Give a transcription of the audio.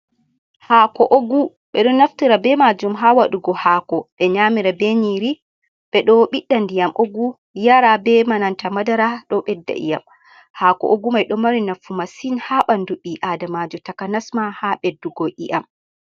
Hako ogu be do naftira be majum ha wadugo hako de nyamira beniri bedobida ndiyam ogu be yara be nanta madara dobedda iyam hako ogu mai do mari nafu massin ha bandu bi adama takanasma ha beddugo iyam.